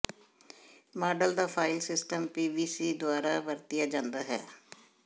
model ਦਾ file system PBC ਦੁਆਰਾ ਵਰਤਿਆ ਜਾਂਦਾ ਹੈ